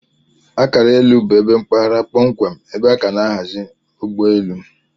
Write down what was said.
Akara elu bu ebe mpaghara kpọmkwem ebe aka na aghazi ugbọ elụ.